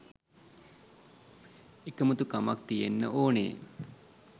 එකමුතුකමක් තියෙන්න ඕනේ.